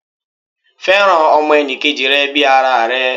Fẹ́ràn ọmọ enì kejì rẹ bii ara rẹ